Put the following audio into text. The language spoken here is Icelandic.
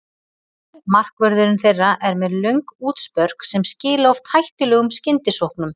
Markvörðurinn þeirra er með löng útspörk sem skila oft hættulegum skyndisóknum.